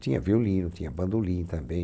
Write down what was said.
Tinha violino, tinha bandolim também.